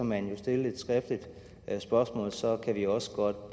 man jo stille et skriftligt spørgsmål og så kan vi også godt